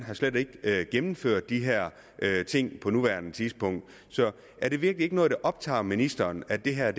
slet ikke har gennemført de her ting på nuværende tidspunkt er det virkelig ikke noget der optager ministeren at det her